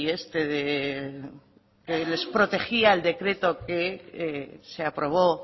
este de les protegía el decreto que se aprobó